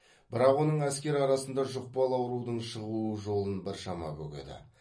бірақ оның әскер арасында жұқпалы аурудың шығуы жолын біршама бөгеді